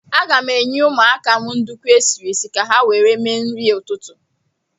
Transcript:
Aga m enye ụmụaka m nduku esiri esi ka ha were mere nri ụtụtụ.